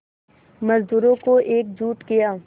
मज़दूरों को एकजुट किया